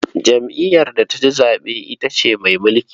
Jam'iyyar da ta ci zaɓe ita ce mai mulki.